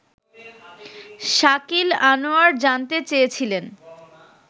শাকিল আনোয়ার জানতে চেয়েছিলেন